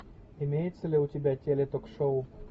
имеется ли у тебя теле ток шоу